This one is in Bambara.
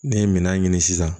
Ne ye minan ɲini sisan